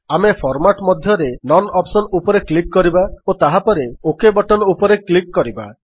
ଆମେ ଫର୍ମାଟ୍ ମଧ୍ୟରେ none option ଉପରେ କ୍ଲିକ୍ କରିବା ଓ ତାହାପରେ ଓକ୍ ବଟନ୍ ଉପରେ କ୍ଲିକ୍ କରିବା